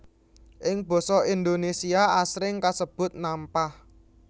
Ing basa Indonésia asring kasebut nampah